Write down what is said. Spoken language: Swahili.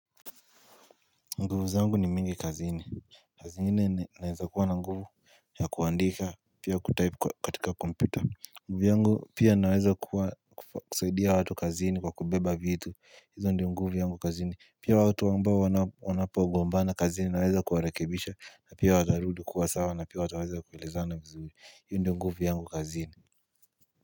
Nguvu zangu ni mingi kazini kazini naweza kuwa na nguvu ya kuandika pia kutype katika kompyuta. Nguvu yangu pia naweza kuwa kusaidia watu kazini kwa kubeba vitu hizo ndio nguvu yangu kazini pia watu ambapo wanapogombana kazini naweza kuwarekebisha na pia watarudu kuwa sawa na pia wataweza kuelezana vizuri hiyo ndio nguvu yangu kazini.